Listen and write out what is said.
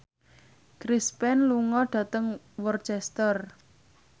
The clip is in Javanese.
Chris Pane lunga dhateng Worcester